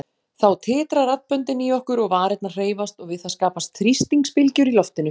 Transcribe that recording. Þá titra raddböndin í okkur og varirnar hreyfast og við það skapast þrýstingsbylgjur í loftinu.